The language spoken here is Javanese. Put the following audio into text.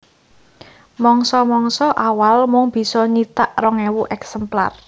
Mangsa mangsa awal mung bisa nyithak rong ewu èksemplar